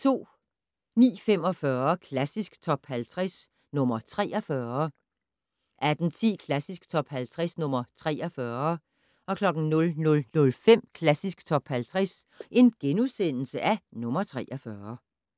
09:45: Klassisk Top 50 - nr. 43 18:10: Klassisk Top 50 - nr. 43 00:05: Klassisk Top 50 - nr. 43 *